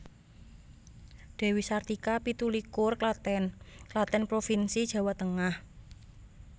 Dewi Sartika pitu likur Klaten Klaten provinsi Jawa Tengah